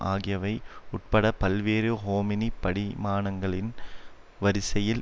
ஆகியவை உட்பட பல்வேறு ஹோமினி படி மானங்களின் வரிசையில்